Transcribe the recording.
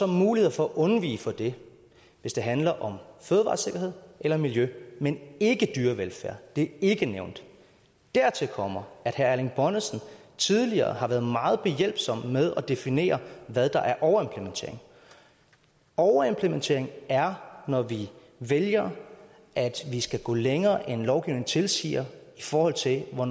mulighed for at afvige fra det hvis det handler om fødevaresikkerhed eller miljø men ikke er dyrevelfærd det er ikke nævnt dertil kommer at herre erling bonnesen tidligere har været meget behjælpelig med at definere hvad der er overimplementering overimplementering er når vi vælger at vi skal gå længere end lovgivningen tilsiger i forhold til hvor